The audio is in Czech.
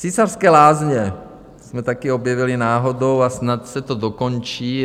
Císařské lázně jsme taky objevili náhodou a snad se to dokončí.